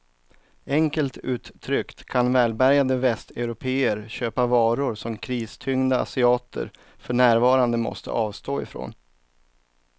Enkelt uttryckt kan välbärgade västeuropéer köpa varor som kristyngda asiater för närvarande måste avstå ifrån.